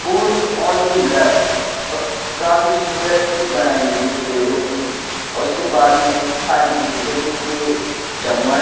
food only love काफी सुंदर pic बनाई हुई है पेड़ों की उसके बाजू में थाली के पिक है जिसपे चम्मच--